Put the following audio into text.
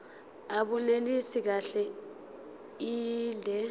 abunelisi kahle inde